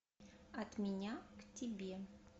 от меня к тебе